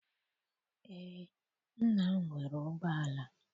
Eé, nna m nwere ụgbọala.